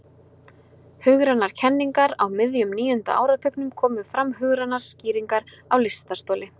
Hugrænar kenningar Á miðjum níunda áratugnum komu fram hugrænar skýringar á lystarstoli.